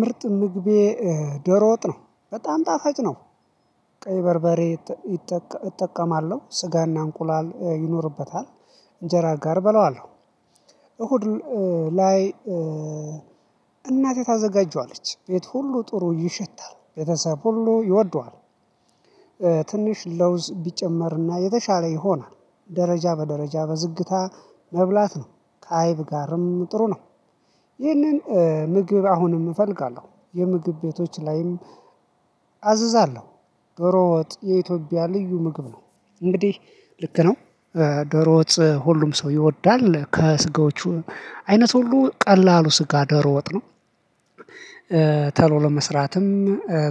ምርጥ ምግቤ ደሮ ወጥ ነው በጣም ጣፋጭ ነው። ቀይ በርበሬ እጠቀማለሁ ስጋና እንቁላል ይኖርበታል እንጀራ ጋር እበላዋለሁ። እሁድ ላይ እናቴ ታዘጋጀዋለች ቤት ሁሉ ጥሩ ይሸታል ቤተሰብ ሁሉ ይወደዋል። ትንሽ ለውዝ ቢጨመርና የተሻለ ይሆናል። ደረጃ በደረጃ በዝግታ መብላት ነው ከአይብ ጋርም ጥሩ ነው። ይህንን ምግብ አሁንም እፈልጋለሁ የምግብ ቤቶች ላይም አዛለሁ። የኢትዮጵያ ልዩ ምግብ ነው። እንግዲህ ልክ ነው። ደሮ ወጥ ሁሉም ሰው ይወዳል ከስጋዎቹ አይነት ሁሉ ቀላሉ ስጋ ደሮ ወጥ ነው። ቶሎ ለመስራትም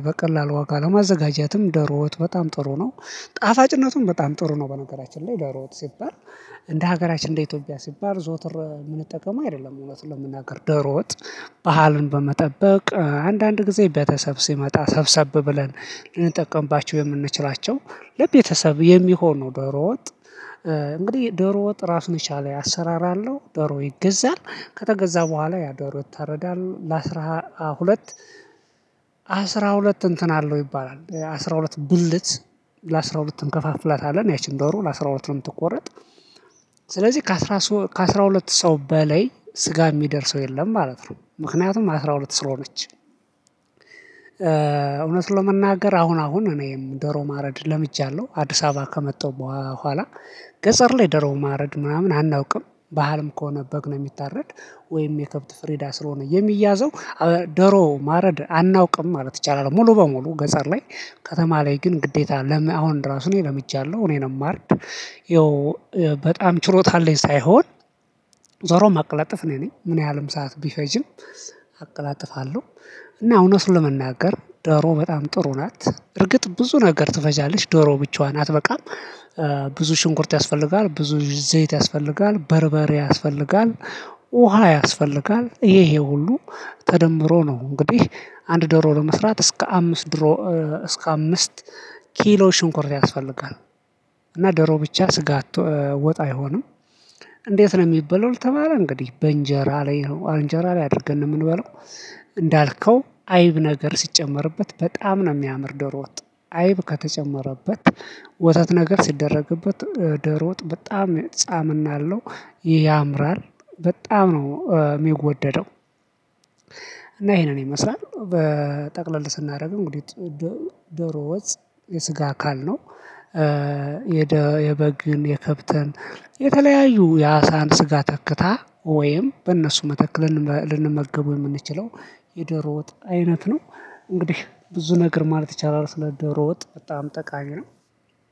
በቀላሉ ዋጋ ለማዘጋጀትም ደሮወት በጣም ጥሩ ነው። ጣፋጭነቱም በጣም ጥሩ ነው። በነገራችን ላይ ደሮ ወጥ ሲባል እንደ ሀገራችን እንደ ኢትዮጵያ ሲባል ዘወትር የምንጠቀመው አይደለም። እውነት ለመናገር ደሮ ወጥ ባህሉን በመጠበቅ አንዳንድ ጊዜ ቤተሰብ ሲመጣ ሰብሰብ ብለን ልንጠቀምባችሁ የምንችላቸው። ለቤተሰብ የሚሆኑ ደሮ ወጥ እንግዲህ ደሮ ወጥ ራሱን የቻለ አሰራር አለው። ደሮ ይገዛል ከተገዛ በኋላ ያደሮ ይታረዳል ለአስራ ሁለት። ሁለት እንትን አለው ይባላል አስራ ሁለት ብልት። ለአስራ ሁለት እንከፋፍላታለን ያቺን ደሩ ለአሥራ ሁለት ነው የምትቆረጥ። ስለዚህ ከአሥራ ሁለት ሰው በላይ ስጋ የሚደርሰው የለም ማለት ነው። ምክንያቱም አስራ ሁለት ስር ነች። እውነት ለመናገር አሁን አሁን እኔም ደሮ ማረድ ለምጃለሁ አዲስ አበባ ከመጣው በኋላ ገጠር ላይ ደሮ ማረድ ምናምን አናውቅም። ባህልም ከሆነ በግ ነው የሚታረድ። ወይም የከብት ፍሬዳ ስለሆነ የሚያዘው ደሮ ማረድ አናውቅም ማለት ይቻላል። ሙሉ በሙሉ ገጠር ላይ ከተማ ላይ ግን ግዴታ ለምን አሁን ራሱን ለምጃለሁ። እኔንም ማርድ ይኸው በጣም ችሎታ አለኝ ሳይሆን። ደሮ ማቀለጥፍ እኔ ነኝ ምን ያህልም ሰዓት ቢፈጅም አቀላጥፋለሁ። እና እውነት ለመናገር ዶሮ በጣም ጥሩ ናት። እርግጥ ብዙ ነገር ትፈጃለች ዶሮ ብቻዋን አትበቃም። ብዙ ሽንኩርት ያስፈልጋል ብዙ ዘይት ያስፈልጋል በርበሬ ያስፈልጋል። ውሃ ያስፈልጋል ይሄ ሁሉ ተደምሮ ነው። እንግዲህ አንድ ደሮ ለመስራት እስከ አምስት ድሮ እስከ አምስት ኪሎ ሽንኮርት ያስፈልጋል። እና ደሮ ብቻ ስጋ አትወጣ አይሆንም። እንዴት ነው የሚበላው ከተባለ እንግዲህ በእንጀራ ላይ አንጀራ ላይ አድርገን ነው የምንበለው። እንዳልከው አይብ ነገር ሲጨመርበት በጣም ነው የሚያምር ደሮ ወጥ። አይብ ከተጨመረበት። ወተት ነገር ሲደረግበት ደሮ ወጥ በጣም ጣምና አለው ያምራል በጣም ነው የሚወደደው። እና ይሄንን ይመስላል በጠቅለል ስናደርግ እንግዲህ ደሮ ወጥ የስጋ አካል ነው። የበግን የከብተን የተለያዩ የአሳን ስጋ ተክታ ወይም በእነሱ መተክ ልንመገበው የምንችለው የደሮ ወጥ አይነት ነው። እንግዲህ ብዙ ነገር ማለት ይቻላል ስለ ደሮ ወጥ በጣም ጠቃሚ ነው።